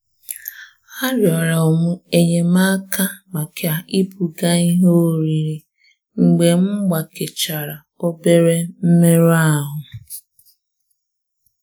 A rịọrọ m enyemaka maka ibuga ihe oriri mgbe m gbakechara obere mmerụ ahụ.